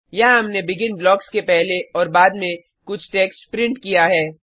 यहाँ हमने begin blocks के पहले और बाद में कुछ टेक्स्ट प्रिंट किया है